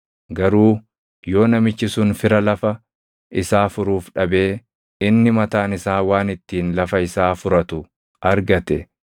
Garuu yoo namichi sun fira lafa isaa furuuf dhabee inni mataan isaa waan ittiin lafa isaa furatu argate,